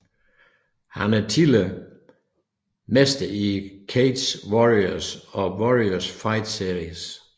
Han er tidligere mester i Cage Warriors og Warrior Fight Series